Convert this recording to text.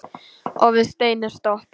Og við stein er stopp.